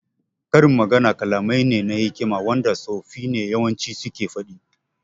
Karin magana kalamai ne na hikima wanda tsofi ne yawanci suke faɗi